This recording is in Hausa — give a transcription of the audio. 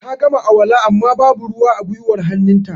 Ta gama alwala amma ba bu ruwa a gwiwar hannun ta